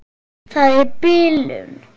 Það er bilun.